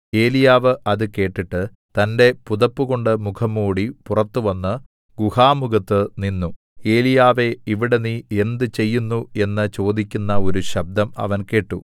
ഏലീയാവ് അത് കേട്ടിട്ട് തന്റെ പുതപ്പുകൊണ്ട് മുഖം മൂടി പുറത്ത് വന്ന് ഗുഹാമുഖത്ത് നിന്നു ഏലീയാവേ ഇവിടെ നീ എന്ത് ചെയ്യുന്നു എന്ന് ചോദിക്കുന്ന ഒരു ശബ്ദം അവൻ കേട്ടു